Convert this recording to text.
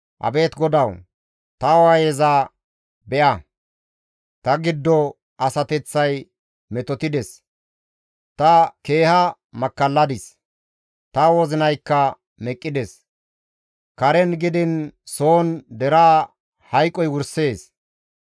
«Abeet GODAWU! Ta waayeza be7a! ta giddo asateththay metotides; ta keeha makkalladis; ta wozinaykka meqqides; Karen gidiin soon deraa hayqoy wursees.